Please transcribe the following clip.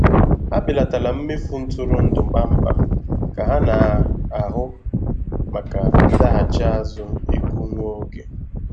Ha belatara mmefu ntụrụndụ kpamkpam ka ha na-ahụ maka ndaghachi azụ ego nwa oge.